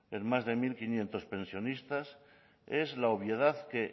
en más de mil quinientos pensionistas es la obviedad que